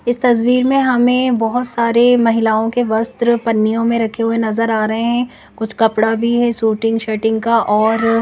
इस तस्वीर में हमें बहोत सारे महिलाओं के वस्त्र पन्नियों में रखें हुए नजर आ रहें हैं कुछ कपड़ा भीं हैं सुटिंग शटिंग का और--